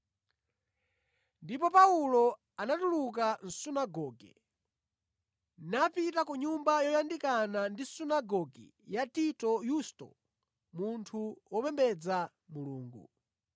Ndipo Paulo anatuluka mʼsunagoge napita ku nyumba yoyandikana ndi sunagoge ya Tito Yusto, munthu wopembedza Mulungu.